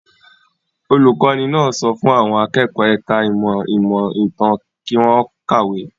Olùkọ́ní náà sọ fún àwọn akẹ́kọ̀ọ́ ẹ̀ka-ìmọ̀ ìmọ̀-ìtàn kí wọ́n kàwé.